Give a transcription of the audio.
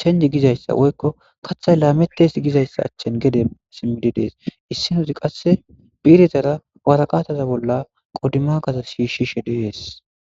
change gizaysa woyko kaathay lametes gizaysa achen gede simides issinozi qase bi'irezara be warata bolla wodimafa shishishe de'es